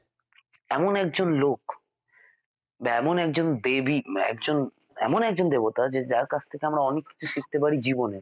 এমন একজন লোক বা এমন একজন দেবী উম একজন এমন একজন দেবতা যে যাঁর কাছ থেকে আমরা অনেক কিছু শিখতে পারি জীবনে